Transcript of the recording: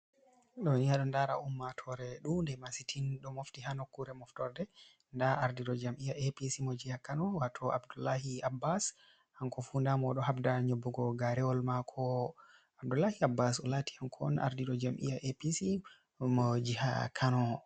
Ɗooni a ɗo ndara ummatoore ɗuunde masitin, ɗo mofti haa nokkuure moftorde. Ndaa ardiiɗo jam'iya APC mo jiha Kano, waato Abdullahi Abbas hanko fu, daamo o ɗo habda nyobbugo gaarewol maako. Abdullahi Abbas o laati, hanko on ardiiɗo jam'iya APC mo jiha Kano.